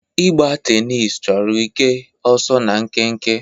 Ịgba tenisi chọrọ ike, ọsọ na nkenke.